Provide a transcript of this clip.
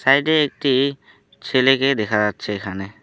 সাইডে একটি ছেলেকে দেখা যাচ্ছে এখানে।